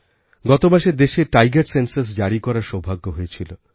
গতমাসে দেশেtiger সেনসাস জারী করার সৌভাগ্য হয়েছিল